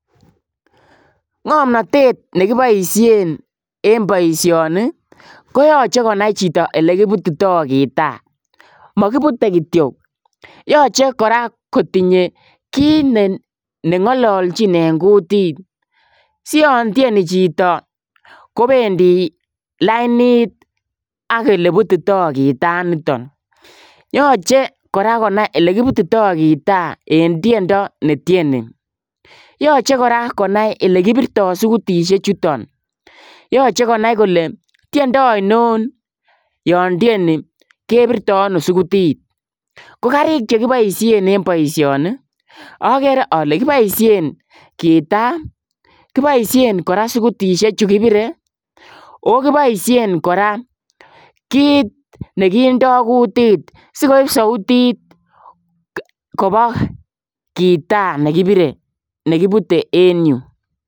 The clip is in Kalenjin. Ngamnatet nekibaisheen en boisioni ii ko yachei konai chitoo kole ele kibutitai gitaa makibute kityoi yachei kora kotinyei kiit nengalaljiin en kutit sian tienii chitoo kobendii lainit ak ole butitaaa gitaa initaan yachei kora konai ole kibutitai gitaa kobuun tiendo ne tienii yachei kora konai ole kipirtaai sugutisheek chutoon yachei konai kole tiendo ainon yaan tienii kebirtaa ano sugutit ko gariik che kibaisheen en boisioni agere ale kibaisheen gitaa kibaisheen kora sugutisheek chuu kibiree oo kibaisheen kora kiit nekindaa kutit sikoip sautit kowa gitaa nekibute en yu.